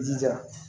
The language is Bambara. I jija